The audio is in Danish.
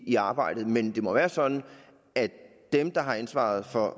i arbejdet men det må være sådan at dem der har ansvaret for